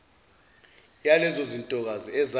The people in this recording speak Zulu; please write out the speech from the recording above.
yalezo zintokazi ezabe